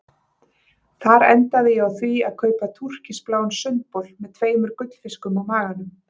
Þar endaði ég á því að kaupa túrkisbláan sundbol með tveimur gullfiskum á maganum.